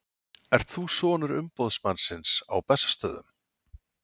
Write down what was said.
Ertu sonur umboðsmannsins á Bessastöðum?